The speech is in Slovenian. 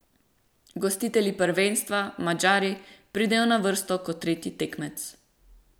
Gostitelji prvenstva, Madžari, pridejo na vrsto kot tretji tekmec.